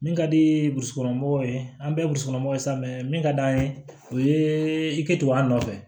Min ka di burusikɔnɔmɔgɔw ye an bɛɛ ye musokɔnɔmaw sa min ka d'an ye o ye i kɛ tugun an nɔfɛ